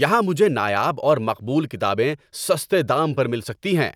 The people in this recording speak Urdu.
یہاں مجھے نایاب اور مقبول کتابیں سستے دام پر مل سکتی ہیں۔